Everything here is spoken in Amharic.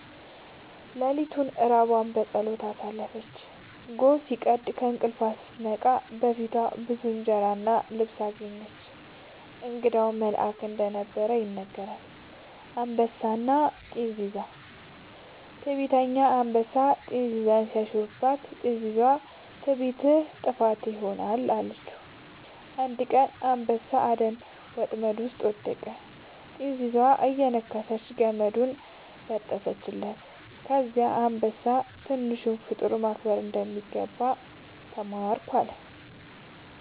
ሌሊቱን ራቧን በጸሎት አሳለፈች። ጎህ ሲቀድ ከእንቅልፏ ስትነቃ በፊቷ ብዙ እንጀራ እና ልብስ አገኘች። እንግዳው መልአክ እንደነበር ይነገራል። «አንበሳና ጥንዚዛ» ነው። ትዕቢተኛ አንበሳ ጥንዚዛን ሲያሾፍባት፣ ጥንዚዛዋ «ትዕቢትህ ጥፋትህ ይሆናል» አለችው። አንድ ቀን አንበሳ በአደን ወጥመድ ውስጥ ወደቀ፤ ጥንዚዛዋ እየነከሰች ገመዱን ሰበረችለት። ከዚያ አንበሳ «ትንሿን ፍጡር ማክበር እንደሚገባ ተማርኩ» አለ